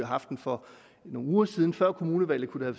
haft den for nogle uger siden før kommunevalget kunne det